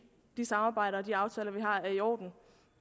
det samarbejde og de aftaler vi har er i orden